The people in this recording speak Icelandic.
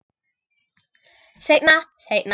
Seinna, seinna.